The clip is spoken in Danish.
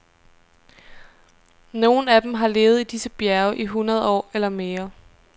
Nogle af dem har levet i disse bjerge i hundrede år eller mere.